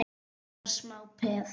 Þetta var smá peð!